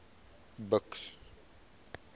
buks